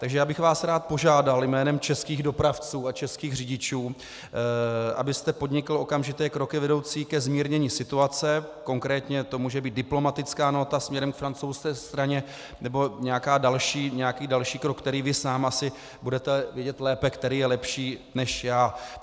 Takže já bych vás rád požádal jménem českých dopravců a českých řidičů, abyste podnikl okamžité kroky vedoucí ke zmírnění situace, konkrétně to může být diplomatická nóta směrem k francouzské straně nebo nějaký další krok, který vy sám asi budete vědět lépe, který je lepší, než já.